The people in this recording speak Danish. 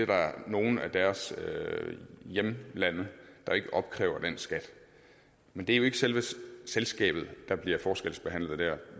der er nogle af deres hjemlande der ikke opkræver den skat men det er jo ikke selve selskabet der bliver forskelsbehandlet der